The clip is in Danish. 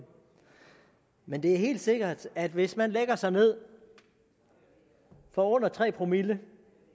men det er helt sikkert at hvis man lægger sig ned for under tre promille